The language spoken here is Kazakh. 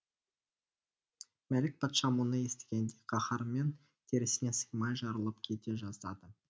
мәлік патша мұны естігенде қаһармен терісіне сыймай жарылып кете жаздады